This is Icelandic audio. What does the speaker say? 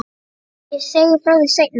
Ég segi frá því seinna.